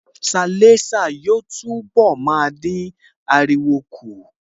Sialésà yóò túnbọ̀ máa dín ariwo kù